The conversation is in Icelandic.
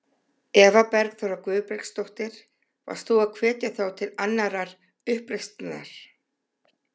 Eva Bergþóra Guðbergsdóttir: Varst þú að hvetja þá til annarrar uppreisnar?